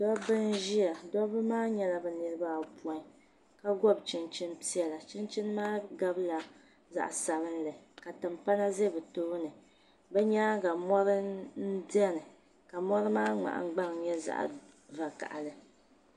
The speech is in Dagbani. Dobi n ʒiya dobi maa nyɛla bɛ niribi ayɔ pɔin ka gobi chin chini pɛla chinchini maa gabila zaɣi sabila ka tinpana za bi tooni bi nyaaŋa mɔri n beni mɔri maa nyɛla zaɣi vakahili